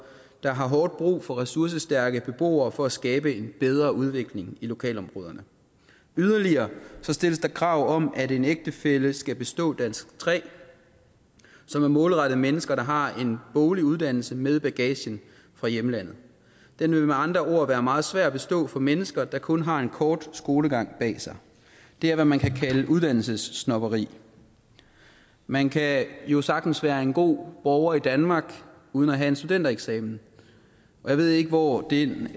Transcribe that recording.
der har hårdt brug for ressourcestærke beboere for at skabe en bedre udvikling i lokalområderne yderligere stilles der krav om at en ægtefælle skal bestå dansk tre som er målrettet mennesker der har en boglig uddannelse med i bagagen fra hjemlandet den vil med andre ord være meget svær at bestå for mennesker der kun har en kort skolegang bag sig det er hvad man kan kalde uddannelsessnobberi man kan jo sagtens være en god borger i danmark uden at have en studentereksamen og jeg ved ikke hvor den